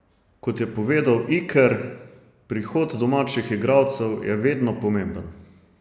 Kot je povedal Iker, prihod domačih igralcev je vedno pomemben.